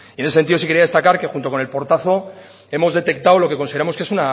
en ese sentido sí quería destacar que junto con el portazo hemos detectado lo que consideramos que es